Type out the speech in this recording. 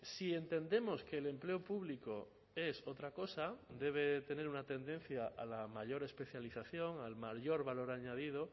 si entendemos que el empleo público es otra cosa debe tener una tendencia a la mayor especialización al mayor valor añadido